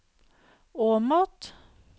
Åmot